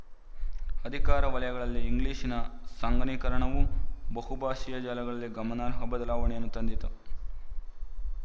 ಅಧಿಕಾರ ವಲಯಗಳಲ್ಲಿ ಇಂಗ್ಲಿಶಿನ ಸಂಘನೀಕರಣವು ಬಹುಭಾಶೀಯ ಜಾಲದಲ್ಲಿ ಗಮನಾರ್ಹ ಬದಲಾವಣೆಯನ್ನು ತಂದಿತು